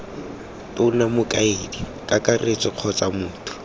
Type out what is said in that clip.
tona mokaedi kakaretso kgotsa motho